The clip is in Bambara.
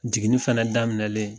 Jiginin fɛnɛ daminɛlen